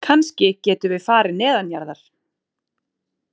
Kannski getum við farið neðanjarðar